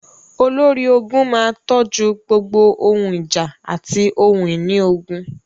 Olórí ogun máa tójú gbogbo ohun ìjà àti ohun ìní ogun.